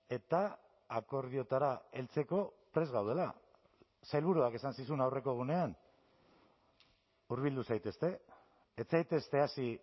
eta akordioetara heltzeko prest gaudela sailburuak esan zizun aurreko egunean hurbildu zaitezte ez zaitezte hasi